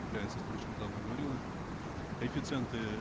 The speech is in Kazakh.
является шаймардановна говорила коэффициенты